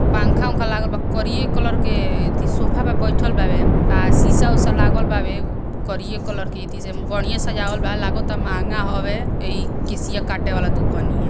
पंखा उंखा लागल बा करिये कलर के अथी सोफा पे बैठल बाड़ेन अ शीशा उसा लागल बावे करिये कलर के इति सन बढियें सजावल बा लगता महँगा होवे अ ई केशिया काटे वाला दुकनिया --